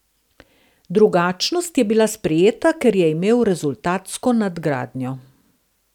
Drugačnost je bila sprejeta, ker je imel rezultatsko nadgradnjo.